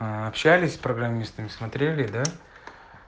общались программистами смотрели да